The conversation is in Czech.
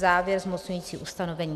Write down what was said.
Závěr - zmocňující ustanovení.